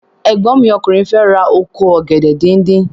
Ẹ̀gbọ́n mi ọkùnrin fẹ ra oko ọ̀gẹ̀dẹ̀ díndín.